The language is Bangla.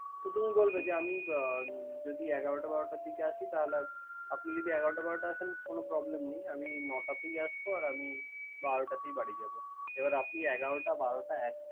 তুমি বলবে আমি বা এগারোটা বারোটার দিকে আসি তাহলে আপনি যদি এগারোটা বারোটাই আসেন কোন problem নাই। আমি নটার দিকে আসবো বারোটায় বাড়ি যাব। এবার আপনি এগারোটা, বারোটা একটা।